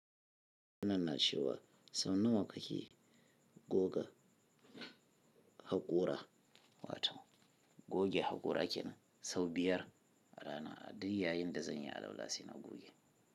Wannan na ce wa sau nawa kake goga haƙora? Wato goge haƙora ke nan sau biyar rana a da yayin da zanye al'ul si na goge.